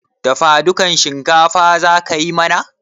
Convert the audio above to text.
Dafadukan shinkafa za ka yi mana?